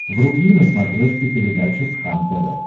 вруби на смотрешке передачу кхлм тв